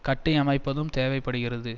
கட்டியமைப்பதும் தேவை படுகிறது